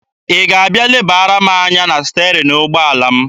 Ị ga-abịa lebara m anya na sterin ụgbọala m?